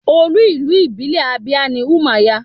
Olú ìlú ìpínlẹ̀ Abia ni Umuahia.